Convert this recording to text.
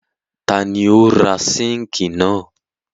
Ta ni ó ra síńkì náà?